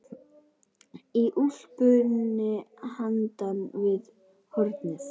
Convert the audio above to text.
Í úlpunni handan við hornið.